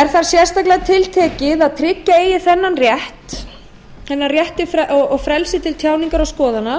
er þar sérstaklega tiltekið að tryggja eigi þennan rétt og frelsi til tjáningar og skoðana